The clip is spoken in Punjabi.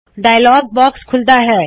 ਡਾਇਲੌਗ ਬਾਕਸ ਖੂੱਲ਼ਦਾ ਹੈ